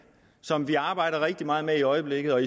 som vi arbejder rigtig meget med i øjeblikket og